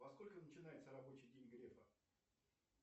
во сколько начинается рабочий день грефа